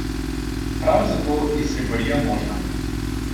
Prav zato je sleparija možna.